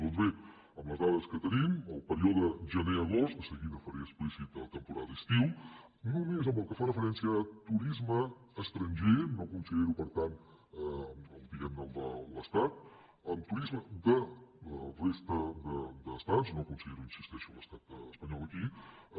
doncs bé amb les dades que tenim el període generagost de seguida faré explícita la temporada d’estiu només pel que fa referència a turisme estranger no considero per tant diguem ne el de l’estat turisme de la resta d’estats no considero hi insisteixo l’estat espanyol aquí